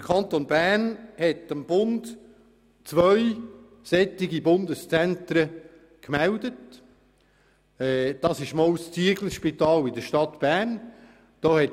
Der Kanton Bern hat dem Bund zwei Bundeszentren gemeldet, das Zieglerspital in Bern und das Zentrum wo ein prüfen, bei Lyss.